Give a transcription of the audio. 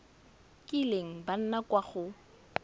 kileng ba nna kwa go